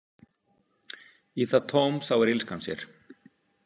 Í það tóm sáir illskan sér.